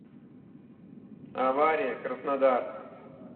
авария краснодар